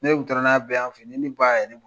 Ni ne kun taara n'a bɛɛ y'an fe yen , ni ne ba y'a ye a